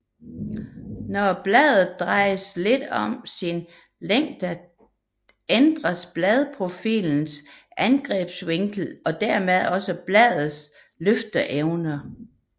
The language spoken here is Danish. Når bladet drejes lidt om sin længdeakse ændres bladprofilens angrebsvinkel og dermed også bladets løfteevne